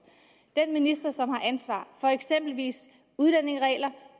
den minister som har ansvar for eksempelvis udlændingeregler